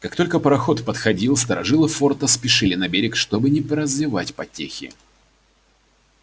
как только пароход подходил старожилы форта спешили на берег чтобы не прозевать потехи